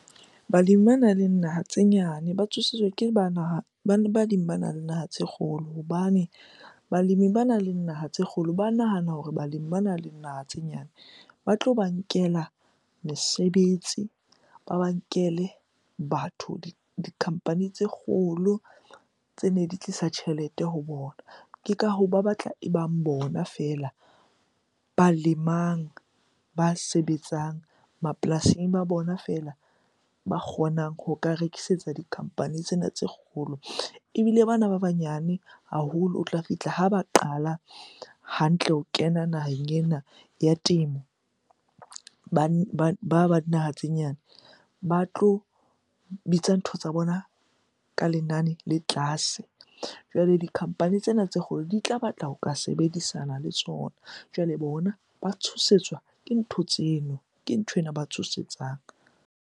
Balemi banang le naha tse nyane ba tshosetswa ke ba naha naha tse kgolo hobane balemi banang le naha tse kgolo ba nahana hore balemi banang le naha tse nyane ba tlo ba nkela mesebetsi, ba ba nkele batho, di-company tse kgolo tsene di tlisa tjhelete ho bona. Ke ka hoo ba batla e bang bona feela ba lemang, ba sebetsang mapolasing, e ba bona feela ba kgonang ho ka rekisetsa di-company tsena tse kgolo. Ebile bana ba banyane haholo, o tla fihla ha ba qala hantle ho kena naheng ena ya temo. Ba ba dinaha tse nyane ba tlo bitsa ntho tsa bona ka lenane le tlase. Jwale di-company tsena tse kgolo di tla batla ho ka sebedisana le tsona, jwale bona ba tshosetswa ke ntho tseno. Ke nthwena ba tshosetsang.